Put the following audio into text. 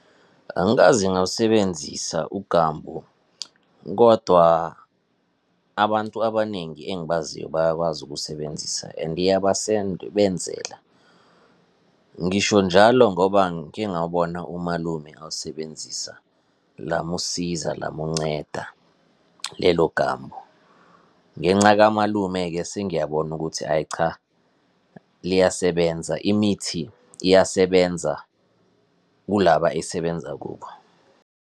Angikaze ngawusebenzisa uGambu, kodwa abantu abaningi engibaziyo bayakwazi ukuwusebenzisa and iyabasebenzela. Ngisho njalo ngoba ngike ngawubona umalume awusebenzisa, lamusiza, lamunceda, lelo Gambu. Ngenca kamalume-ke sengiyabona ukuthi, hhayi cha, liyasebenza. Imithi iyasebenza kulaba esebenza kubo.